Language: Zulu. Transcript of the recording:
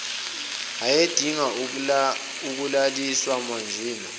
ayedinga ukulaliswa manjena